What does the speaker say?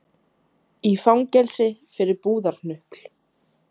Í fangelsi fyrir búðarhnupl